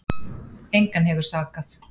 Engan hefur sakað